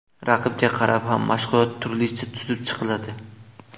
Raqibga qarab ham mashg‘ulotlar turlicha tuzib chiqiladi.